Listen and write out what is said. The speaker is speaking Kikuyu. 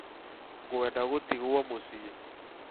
Nĩngwenda gũtigwo mũciĩ